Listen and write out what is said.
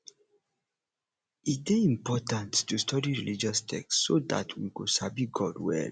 e dey important to study religious texts so that we go sabi god well